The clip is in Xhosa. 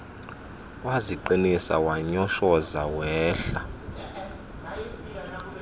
waziqinisa wanyoshoza wehlela